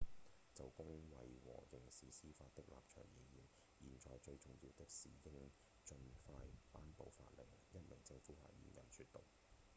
「就公衛和刑事司法的立場而言現在最重要的是應盡快頒布法令」一名政府發言人說道